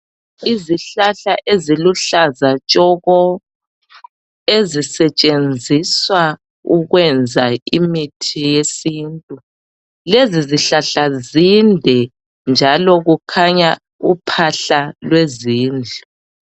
Izihlahla eziluhlaza shoko ezisetshenziswa ukwenza imithi yesintu. Lezi zihlahla zinde njalo kukhanya uphahla lwezindlu.